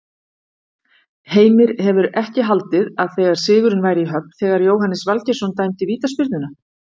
Heimir hefur ekki haldið að sigurinn væri í höfn þegar Jóhannes Valgeirsson dæmdi vítaspyrnuna?